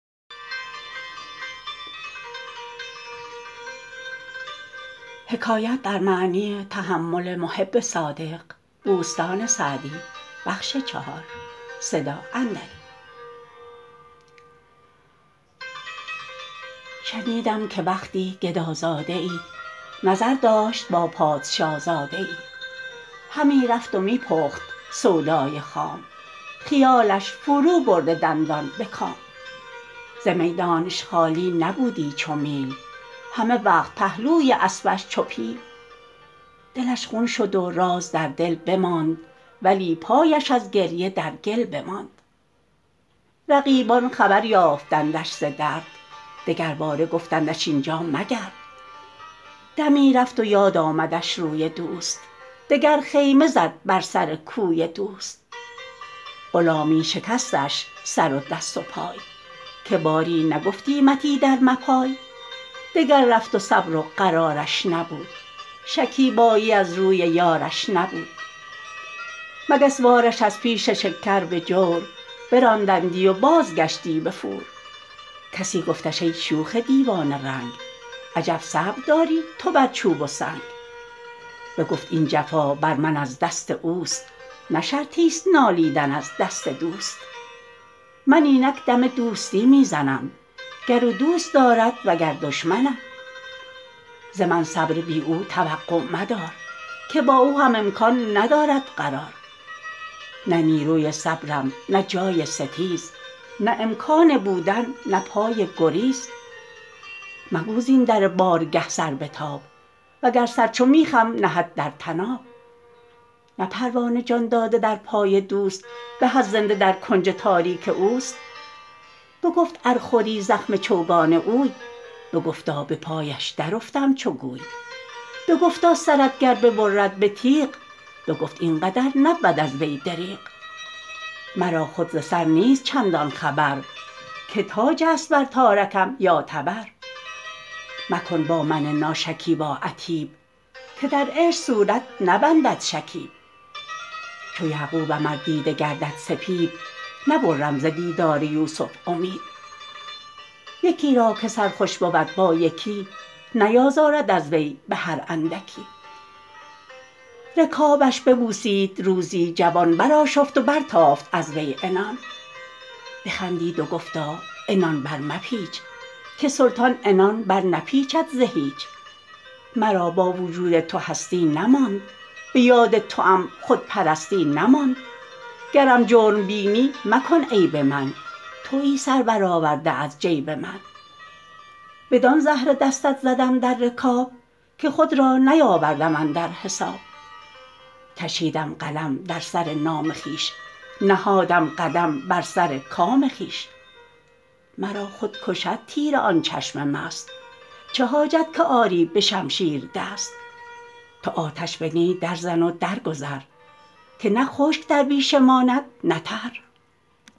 شنیدم که وقتی گدازاده ای نظر داشت با پادشازاده ای همی رفت و می پخت سودای خام خیالش فرو برده دندان به کام ز میدانش خالی نبودی چو میل همه وقت پهلوی اسبش چو پیل دلش خون شد و راز در دل بماند ولی پایش از گریه در گل بماند رقیبان خبر یافتندش ز درد دگرباره گفتندش اینجا مگرد دمی رفت و یاد آمدش روی دوست دگر خیمه زد بر سر کوی دوست غلامی شکستش سر و دست و پای که باری نگفتیمت ایدر مپای دگر رفت و صبر و قرارش نبود شکیبایی از روی یارش نبود مگس وار ش از پیش شکر به جور براندندی و بازگشتی به فور کسی گفتش ای شوخ دیوانه رنگ عجب صبر داری تو بر چوب و سنگ بگفت این جفا بر من از دست اوست نه شرطی ست نالیدن از دست دوست من اینک دم دوستی می زنم گر او دوست دارد وگر دشمنم ز من صبر بی او توقع مدار که با او هم امکان ندارد قرار نه نیروی صبرم نه جای ستیز نه امکان بودن نه پای گریز مگو زین در بارگه سر بتاب وگر سر چو میخم نهد در طناب نه پروانه جان داده در پای دوست به از زنده در کنج تاریک اوست بگفت ار خوری زخم چوگان اوی بگفتا به پایش در افتم چو گوی بگفتا سرت گر ببرد به تیغ بگفت این قدر نبود از وی دریغ مرا خود ز سر نیست چندان خبر که تاج است بر تارکم یا تبر مکن با من ناشکیبا عتیب که در عشق صورت نبندد شکیب چو یعقوبم ار دیده گردد سپید نبرم ز دیدار یوسف امید یکی را که سر خوش بود با یکی نیازارد از وی به هر اندکی رکابش ببوسید روزی جوان برآشفت و برتافت از وی عنان بخندید و گفتا عنان برمپیچ که سلطان عنان برنپیچد ز هیچ مرا با وجود تو هستی نماند به یاد توام خودپرستی نماند گرم جرم بینی مکن عیب من تویی سر بر آورده از جیب من بدان زهره دستت زدم در رکاب که خود را نیاوردم اندر حساب کشیدم قلم در سر نام خویش نهادم قدم بر سر کام خویش مرا خود کشد تیر آن چشم مست چه حاجت که آری به شمشیر دست تو آتش به نی در زن و در گذر که نه خشک در بیشه ماند نه تر